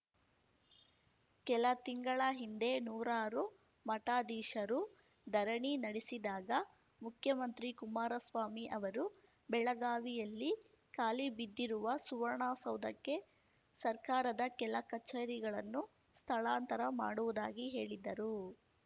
ಕೆಲ ತಿಂಗಳ ಹಿಂದೆ ನೂರಾರು ಮಠಾಧೀಶರು ಧರಣಿ ನಡೆಸಿದಾಗ ಮುಖ್ಯಮಂತ್ರಿ ಕುಮಾರಸ್ವಾಮಿ ಅವರು ಬೆಳಗಾವಿಯಲ್ಲಿ ಖಾಲಿಬಿದ್ದಿರುವ ಸುವರ್ಣಸೌಧಕ್ಕೆ ಸರ್ಕಾರದ ಕೆಲ ಕಚೇರಿಗಳನ್ನು ಸ್ಥಳಾಂತರ ಮಾಡುವುದಾಗಿ ಹೇಳಿದ್ದರು